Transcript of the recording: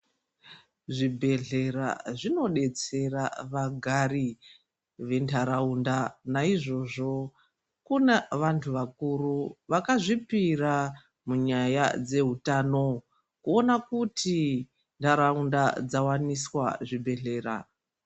Zvibhedhlera zvinodetsera vagari vendaraunda , naizvozvo kuna vantu vakuru vakazvipira munyaya dzehutano kuona kuti ndaraunda dzawaniswa zvibhedhlera .